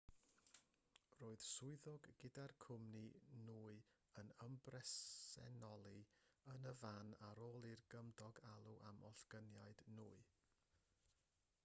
roedd swyddog gyda'r cwmni nwy yn ymbresenoli yn y fan ar ôl i gymydog alw am ollyngiad nwy